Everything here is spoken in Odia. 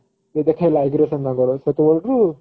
ସେ ଦେଖେଇଲା aggression ହବାର ସେତବେଳଠୁ